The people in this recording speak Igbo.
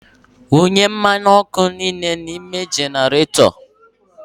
Wunye mmanụ ọkụ niile n'ime generator!